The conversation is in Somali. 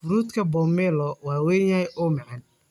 Fruutka pomelo waa weyn yahay oo macaan.